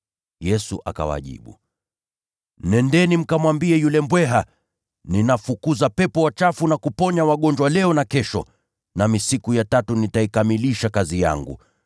Yesu akawajibu, “Nendeni mkamwambie yule mbweha, ‘Ninafukuza pepo wachafu na kuponya wagonjwa leo na kesho, nami siku ya tatu nitaikamilisha kazi yangu.’